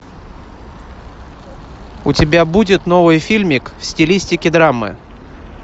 у тебя будет новый фильмик в стилистике драмы